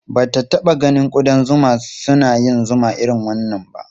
Ba ta taɓa ganin ƙudan zuma suna yin zuma irin wannan ba.